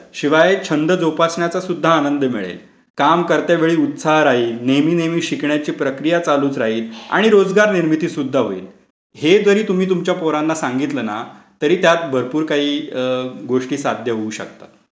शिवाय छंद जोपासल्याचा पण आनंद मिळेल. काम करतेवेळी उत्साह राहील. नेहमी नेहमी शिकण्याची प्रक्रिया चालूच राहिल आणि रोजगार निर्मिती सुद्धा होईल. हे जारी तुम्ही तुमच्या पोरांना सांगितलं ना तरी त्यात भरपूर काही गोष्टी साध्य होऊ शकतात.